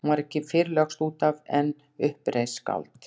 Hún var ekki fyrr lögst út af en upp reis skáld.